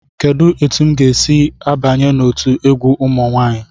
Kedu otu m ga-esi banye n'otu egwu ụmụ nwanyị?